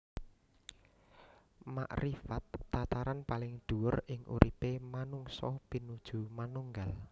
Makrifat tataran paling dhuwur ing uripé manungsa pinuju manunggal